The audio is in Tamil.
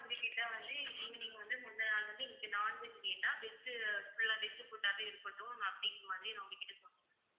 உங்ககிட்ட வந்து evening வந்து முந்தின நாள் வந்து இன்னைக்கு non veg வேண்டாம் veg full ஆ veg food ஆவே இருக்கட்டும் அப்படிங்கற மாதிரி நான் உங்க கிட்ட சொல்லிடுவேன்